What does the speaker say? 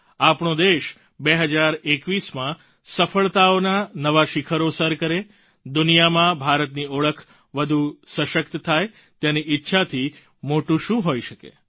આપણો દેશ 2021માં સફળતાઓના નવા શિખરો સર કરે દુનિયામાં ભારતની ઓળખ વધુ સશક્ત થાય તેની ઈચ્છાથી મોટું શું હોઈ શકે છે